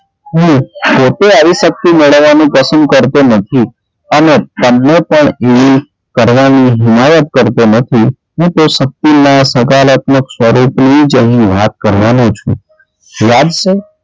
હું પોતે આવી શક્તિ મેળવવાનું પસંદ કરતો નથી અને તમને પણ એ કરવાની હુમાયત કરતો નથી હું તે શક્તિ ને સકારાત્મક સ્વરે થી જ અહીં વાત કરવાનો છું. યાદ છે,